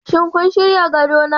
Shin kun shirya gadona?